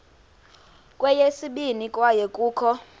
kweyesibini kwaye kukho